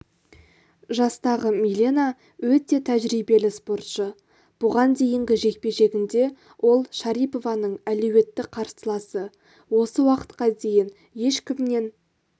жастағы милена өте тәжірибелі спортшы бұған дейінгі жекпе-жегінде ол шарипованың әлеуетті қарсыласы осы уақытқа дейін ешкімнен